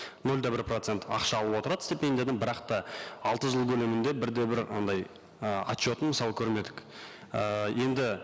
нөл де бір процент ақша алып отырады стипендиядан бірақ та алты жыл көлемінде бір де бір андай ы отчетын мысалы көрмедік ы енді